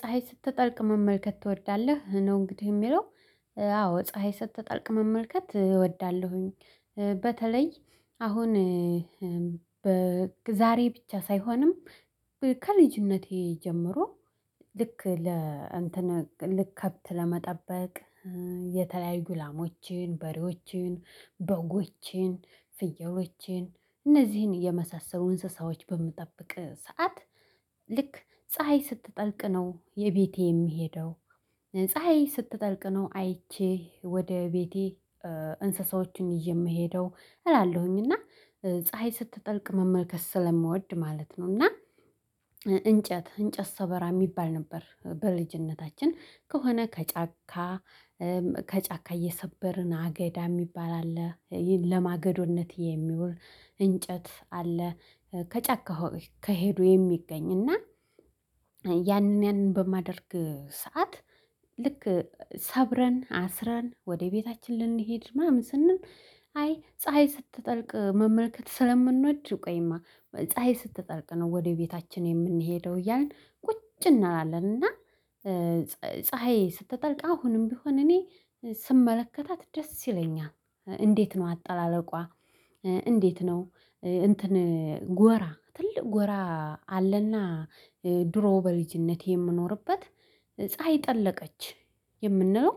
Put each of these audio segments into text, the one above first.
ፀሀይ ስትጠልቅ መመልከት ትወዳለህ ነው? እንግዲህ የሚለው አዎ ፀሀይ ስትጠልቅ መመልከት እወዳለሁኝ። በተለይ አሁን በዛሬ ብቻ ሳይሆንም ከልጅነቴ ጀምሮ ልክ ለ እንትን ልክ ከብት ለመጠበቅ የተለያዩ ላሞችን በሬዎችን በጎችን ፍየሎችን እነዚህን የመሳሰሉ እንስሳዎች በምጠብቅ ሰዓት ልክ ፀሀይ ስትጠልቅ ነው የቤቴ የምሄደው ፀሀይ ስትጠልቅ ነው አይቼ ወደ ቤቴ እንስሳዎችን ይየ የምሄደው እላለሁኝ እና ፀሀይ ስትጠልቅ መመልከት ስለምወድ ማለት ነው። እና እንጨት እንጨት ሰበራ የሚባል ነበር። በልጅነታችን ከሆነ ከጫካ ከጫካ እየሰበርን አገዳ የሚባል አለ ለማገዶነት የሚውል እንጨት አለ። ከጫካው ከሄዱ የሚገኝ እና ያንን ያንን በማደርግ ሰዓት ልክ ሰብረን አስረን ወደ ቤታችን ልንሄድ ምናምን ስንል አይ ፀሀይ ስትጠልቅ መመልከት ስለምንወድ ቆይማ ፀሀይ ስትጠልቅ ነው። ወደ ቤታችን የምንሄደው እያልን ቁጭ እንላለን እና ፀሀይ ስትጠልቅ አሁንም ቢሆን እኔ ስመለከታት ደስ ይለኛል። እንዴት ነው አጠላለቋ? እንዴት ነው? እንትን ጎራ ትልቅ ጎራ አለና ድሮ በልጅነቴ የምኖርበት ፀሀይ ጠለቀች የምንለው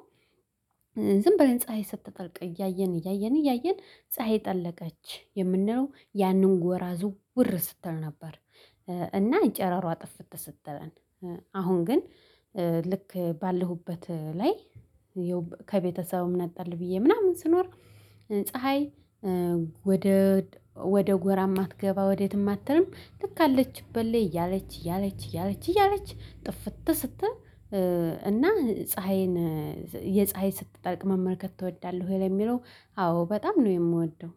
ዝም ብለን ፀሀይ ስትጠልቅ እያየን እያየን እያየን ፀሀይ ጠለቀች የምንለው ያንን ጎራ ዝውር ስትል ነበር። እና ጨረሯ ጥፍተ ስትለን አሁን ግን ልክ ባለሁበት ላይ የው ከቤተሰቡም ነጠል ብዬ ምናምን ስኖር ፀሀይ ወደ ወደ ጎራ የማትገባ ወዴት የማትልም ልክ አለችበት ላይ እያለች እያለች እያለች እያለች ጥፍት ስት እና ፀሀይን የፀሀይ ስትጠልቅ መመልከት ትወዳለህ ወይ ለሚለው አዎ በጣም ነው? የምወደው።